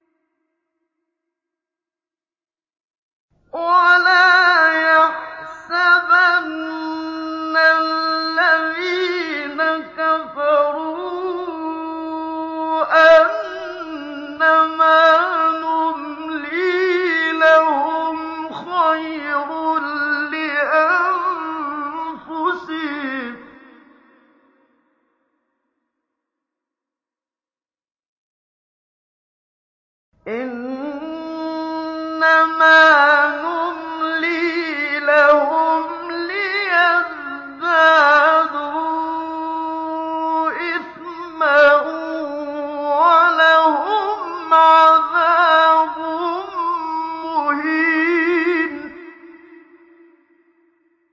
وَلَا يَحْسَبَنَّ الَّذِينَ كَفَرُوا أَنَّمَا نُمْلِي لَهُمْ خَيْرٌ لِّأَنفُسِهِمْ ۚ إِنَّمَا نُمْلِي لَهُمْ لِيَزْدَادُوا إِثْمًا ۚ وَلَهُمْ عَذَابٌ مُّهِينٌ